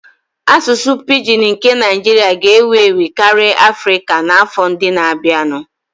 Asụsụ pidgin nke Naijiria ga-ewu ewu karịa Afrika n'afọ ndị na-abịanụ